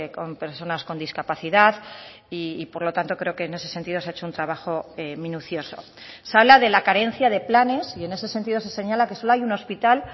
con personas con discapacidad y por lo tanto creo que en ese sentido se ha hecho un trabajo minucioso se habla de la carencia de planes y en ese sentido se señala que solo hay un hospital